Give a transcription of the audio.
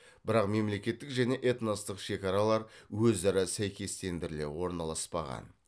бірақ мемлекеттік және этностық шекаралар өзара сәйкестендіріле орналаспаған